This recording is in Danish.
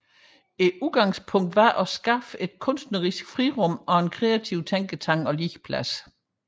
Udgangspunktet var at skabe et kunstnerisk frirum og en kreativ tænketank og legeplads